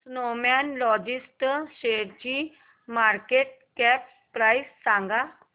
Snowman लॉजिस्ट शेअरची market cap price सांगा